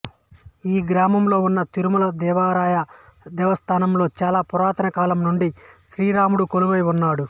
ఈ గ్రామంలో ఉన్న తిరుమల దేవరాయ దేవస్థానంలో చాల పురాతనా కాలం నుండి శ్రీ రాముడు కొలువై వున్నాడు